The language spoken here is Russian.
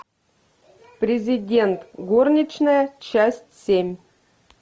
президент горничная часть семь